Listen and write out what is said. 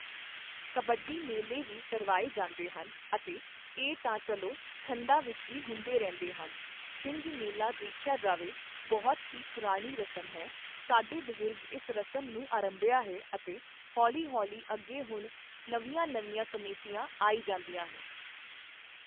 ਕਬੱਡੀ ਮੇਲੇ ਵੀ ਕਰਵਾਏ ਜਾਂਦੇ ਹਨ ਅਤੇ ਇਹ ਤਾਂ ਚੱਲੋ ਠੰਡਾਂ ਵਿੱਚ ਵੀ ਹੁੰਦੇ ਰਹਿੰਦੇ ਹਨ ਛਿੰਝ ਮੇਲਾ ਦੇਖਿਆ ਜਾਵੇ ਬਹੁਤ ਹੀ ਪੁਰਾਣੀ ਰਸਮ ਹੈ ਸਾਡੇ ਬਜ਼ੁਰਗ ਇਸ ਰਸਮ ਨੂੰ ਅਰੰਭਿਆ ਹੈ ਅਤੇ ਹੌਲ਼ੀਹੌਲ਼ੀ ਅੱਗੇ ਹੁਣ ਨਵੀਆਂ ਨਵੀਆਂ ਕਮੇਟੀਆਂ ਆਈ ਜਾਂਦੀਆਂ ਹੈ